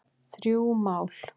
Þrjú mál